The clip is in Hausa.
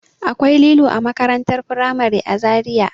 Akwai lilo a makarantar firamare a Zariya.